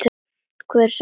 Hver sagði þér þetta?